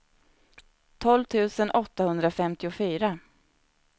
tolv tusen åttahundrafemtiofyra